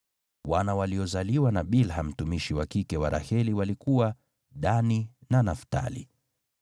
Wana waliozaliwa na Bilha mtumishi wa kike wa Raheli walikuwa: Dani na Naftali.